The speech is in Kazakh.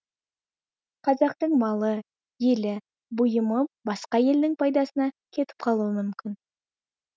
қазақтың малы елі бұйымы басқа елдің пайдасына кетіп қалуы мүмкін